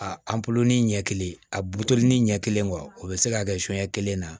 A ɲɛ kelen a butoni ɲɛ kelen wa o bɛ se ka kɛ kelen na